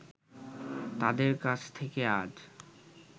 তাদের কাছ থেকে আজ